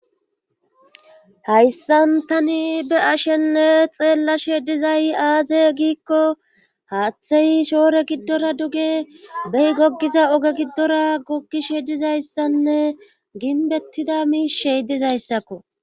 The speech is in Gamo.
hayssan tani be ashenne xeellashe dizay aaze giikko haaththey shoore giddora duge beyi goggiza oge giddora goggishe dizayssanne ginbettida miishey dizayssakko